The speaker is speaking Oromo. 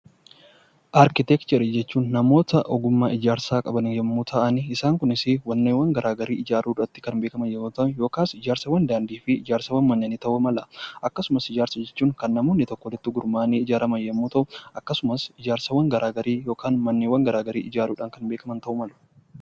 Arkiteekcharii jechuun namoota ogummaa ijaarsaa qaban yommuu ta'an, isaan kunis immoo ijaarsaawwan daandii ta'uu mala. Akkasumas hojiiwwan namoonni itti gurmaa'anii hojjatan yoo ta'u, ijaarsaawwan garaagaraa yookaan manneen garaagaraa ijaaruudhaan kan beekaman ta'uu mala.